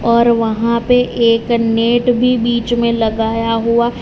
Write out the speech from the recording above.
और वहां पे एक नेट भी बीच मे लगाया हुआ--